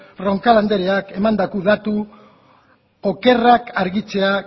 roncal andereak emandako datu okerrak argitzea